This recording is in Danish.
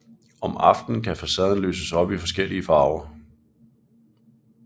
Om aftenen kan facaden lyses op i forskellige farver